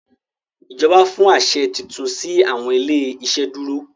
ìjọba fún aṣẹ títún si awọn ilé iṣeduro.